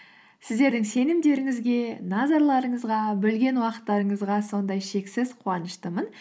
сіздердің сенімдеріңізге назарларыңызға бөлген уақыттарыңызға сондай шексіз қуаныштымын